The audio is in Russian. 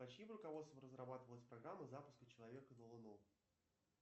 под чьим руководством разрабатывалась программа запуска человека на луну